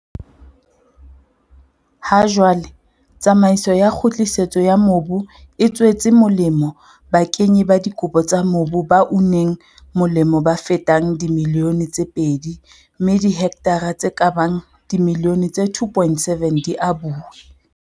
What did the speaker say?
Ha jwale, tsamaiso ya kgutlisetso ya mobu e tswetse molemo bakenyi ba dikopo tsa mobu ba uneng molemo ba fetang dimilione tse pedi mme dihektara tse ka bang dimilione tse 2.7 di abuwe.